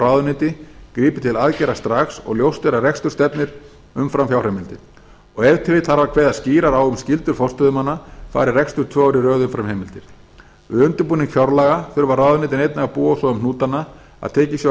ráðuneyti grípi til aðgerða strax og ljóst er að rekstur stefnir umfram fjárheimildir ef til vill þarf að kveða skýrar a um skyldur forstöðumanna fari rekstur tvö ár í röð umfram heimildir við undirbúning fjárlaga þurfa ráðuneytin einnig að búa svo um hnútana að tekið sé á